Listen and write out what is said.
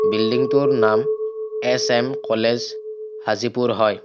বিল্ডিংটাৰ নাম H M college Hajipur হয়।